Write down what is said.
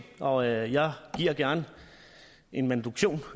og jeg giver gerne en manuduktion